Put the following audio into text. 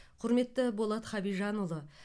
құрметті болат хабижанұлы